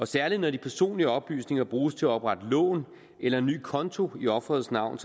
særligt når de personlige oplysninger bruges til at oprette lån eller en ny konto i offerets navn